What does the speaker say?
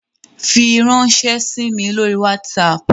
Firanṣẹ sí mí lórí WhatsApp!